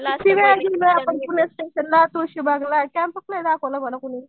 किती वेळा आपण फुले स्टेशनला तुळशीबागला कॅम्पच नाही दाखवलं मला कुणी.